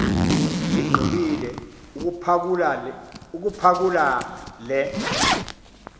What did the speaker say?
igqibile ukuphakula le